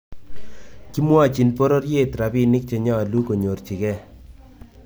Kimwochin pororyeet rapinik chenyolu konyorchigei